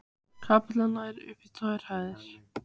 Kapellan nær upp í gegnum tvær hæðir.